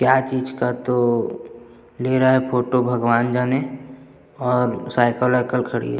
क्या चीज़ का तो ले रहा है फोटो भगवान जाने और साइकिल वाईकिल खड़ी--